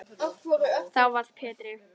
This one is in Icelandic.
Þá varð Pétri